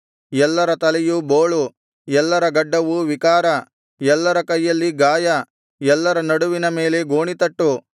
ಎಲ್ಲರ ತಲೆಯು ಬೋಳು ಎಲ್ಲರ ಗಡ್ಡವು ವಿಕಾರ ಎಲ್ಲರ ಕೈಯಲ್ಲಿ ಗಾಯ ಎಲ್ಲರ ನಡುವಿನ ಮೇಲೆ ಗೋಣಿತಟ್ಟು